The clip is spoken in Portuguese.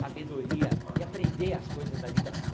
sabedoria e aprender as coisas da vida.